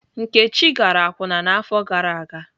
Nkechi gara akwụna n'afọ gara aga.